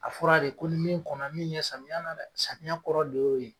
A fɔra de ko ni min kɔnɔ min ɲɛn samiya na dɛ samiya kɔrɔ de y'o ye